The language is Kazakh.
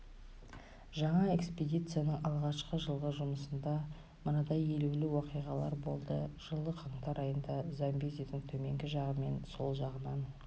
жаңа экспедицияның алғашқы жылғы жұмысында мынадай елеулі уақиғалар болды жылы қаңтар айында замбезидің төменгі жағы мен сол жағынан